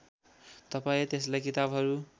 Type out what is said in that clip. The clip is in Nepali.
तपाईँ त्यसलाई किताबहरू